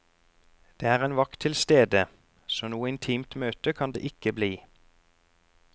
Det er en vakt tilstede, så noe intimt møte kan det ikke bli.